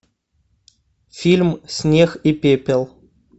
фильм снег и пепел